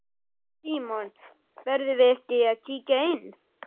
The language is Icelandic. Símon: Verðum við ekki að kíkja inn?